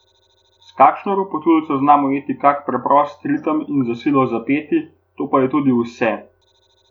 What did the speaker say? S kakšno ropotuljico znam ujeti kak preprost ritem in za silo zapeti, to je pa tudi vse.